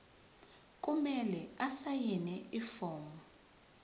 kumele asayine ifomu